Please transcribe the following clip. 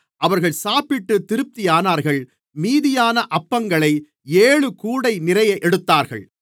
அவர்கள் சாப்பிட்டுத் திருப்தியானார்கள் மீதியான அப்பங்களை ஏழுகூடை நிறைய எடுத்தார்கள்